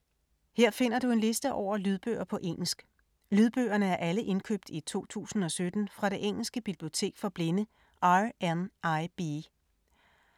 Her finder du en liste over lydbøger på engelsk. Lydbøgerne er alle indkøbt i 2017 fra det engelske bibliotek for blinde, RNIB.